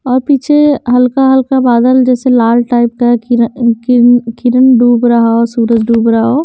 और पीछे हल्का हल्का बादल जैसे लाल टाइप का किरन कीन किरण डूब रहा हो सूरज डूब रहा।